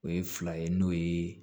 O ye fila ye n'o ye